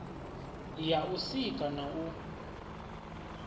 ya u sika na u